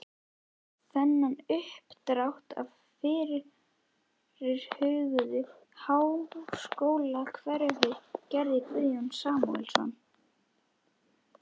Þennan uppdrátt af fyrirhuguðu háskólahverfi gerði Guðjón Samúelsson